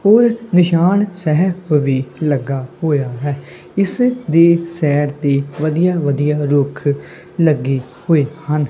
ਉਹ ਨਿਸ਼ਾਨ ਸਾਹਿਬ ਵੀ ਲੱਗਾ ਹੋਇਆ ਹੈ ਇਸ ਦੇ ਸੇਡ ਤੇ ਵਧੀਆ ਵਧੀਆ ਰੁੱਖ ਲੱਗੇ ਹੋਏ ਹਨ।